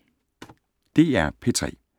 DR P3